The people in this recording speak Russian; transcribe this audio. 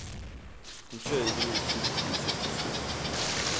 включай игру сити с манчестер сити